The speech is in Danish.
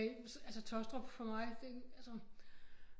Altså Taastrup for mig det altså